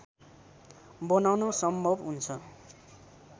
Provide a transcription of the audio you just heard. बनाउन सम्भव हुन्छ।